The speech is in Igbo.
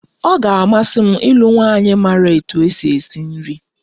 Ọ ga-amasị m ịlụ nwanyị maara otú e si esi nri